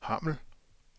Hammel